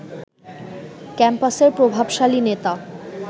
ক্যাম্পাসের প্রভাবশালী নেতা